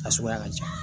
A suguya ka ca